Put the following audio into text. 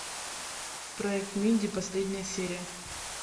проект минди последняя серия